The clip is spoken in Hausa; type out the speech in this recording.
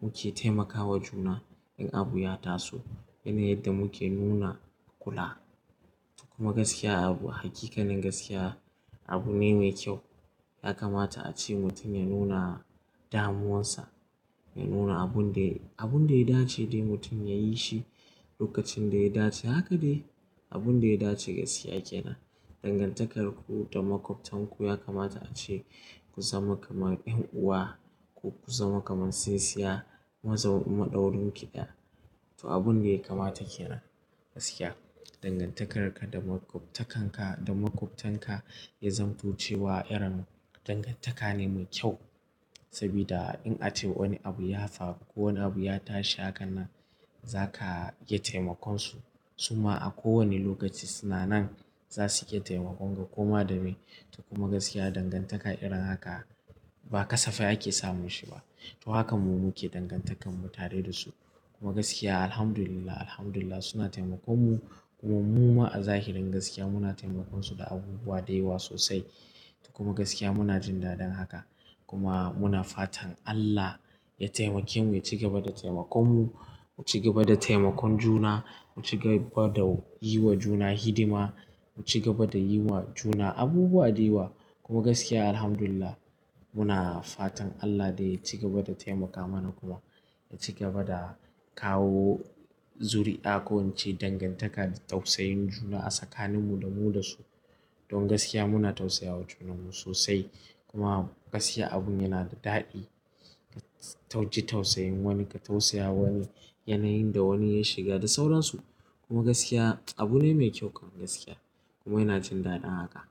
muke taimakawa juna in abu ya taso yanayin yadda muke nuna kula. Kuma gaskiya abu haƙiƙanin gaskiya abu ne mai kyau. Ya kamata a ce mutum ya nuna damuwarsa ya nuna abun da, abun da ya dace dai mutum ya yi shi lokacin da ya dace. Haka dai abun da ya dace gaskiya kenan. Dangantakar ku da makwabtanku ya kamata a ce ku zama kamar 'yan'uwa ko ku zama kamar tsintsinya maɗaurin ki ɗaya. To abun da yakamata kenan gaskiya. Dangantakar ka da makwabtanka, da makwabtanka ya zamto cewa irin dangantaka ne mai kyau. Saboda in ace wani abu ya faru ko wani abu ya tashi haka nan za ka iya taimakon su. Suma a kowane lokaci suna nan za suke taimakon ka kuma da me. Kuma gaskiya dangantaka irin haka ba kasafai ake samun shi ba. To hakan mu muke dangantakar mu tare da su. Kuma gaskiya Alhamdulillah, Alhamdulillah suna taimakon mu kuma mu ma a zahirin gaskiya muna taimakon su da abubuwa da yawa sosai. Kuma gaskiya muna jin daɗin haka kuma muna fatan Allah ya taimake mu ya ci gaba da taimakon mu, mu ci gaba da taimakon juna, mu ci gaba da yi wa juna hidima, mu ci gaba da yi wa juna abubuwa da yawa. Kuma gaskiya Alhamdulillah muna fatan Allah dai ya ci gaba da taimaka mana kuma ya ci gaba da kawo zuri'a ko in ce dangantaka da tausayin juna a tsakanin mu da mu da su. Don gaskiya muna tausayawa junan mu sosai. Kuma gaskiya abun yana da daɗi. Ka tausayin wani ka tausaya wani yanayin da wani ya shiga da sauransu. Kuma gaskiya abu ne mai kyau kam gaskiya kuma yana jin daɗin haka.